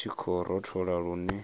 hu tshi khou rothola lune